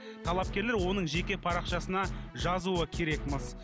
талапкерлер оның жеке парақшасына жазуы керек міс